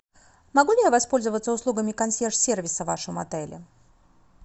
могу ли я воспользоваться услугами консьерж сервиса в вашем отеле